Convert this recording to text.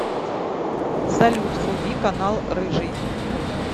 салют вруби канал рыжий